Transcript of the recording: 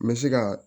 N bɛ se ka